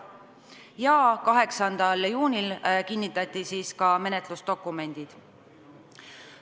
Ja 8. juunil kinnitati ka menetlusdokumendid.